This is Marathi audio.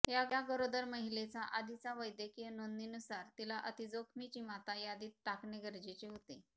या गरोदर महिलेचा आधीचा वैद्यकीय नोंदणीनुसार तिला अतिजोखमीची माता यादीत टाकणे गरजेचे होते